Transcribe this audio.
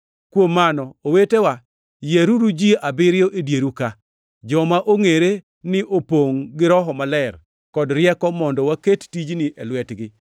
Kuom mano, owetewa, yieruru ji abiriyo e dieru ka; joma ongʼere ni opongʼ gi Roho Maler kod rieko mondo waket tijni e lwetgi,